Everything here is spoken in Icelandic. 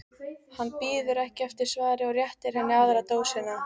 Hann bíður ekki eftir svari og réttir henni aðra dósina.